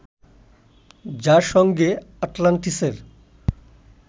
যার সঙ্গে আটলান্টিসের